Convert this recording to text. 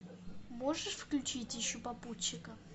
можешь включить ищу попутчика